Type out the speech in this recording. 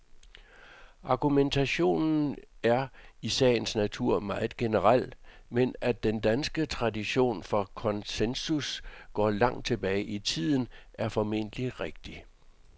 Argumentationen er i sagens natur meget generel, men at den danske tradition for konsensus går langt tilbage i tiden, er formentlig rigtigt.